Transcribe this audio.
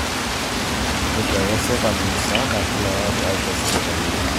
Keishooyo sirkali musaada kila olari aisho isipitalini